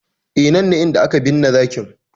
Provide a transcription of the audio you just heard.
E, nan ne inda aka binne zakin.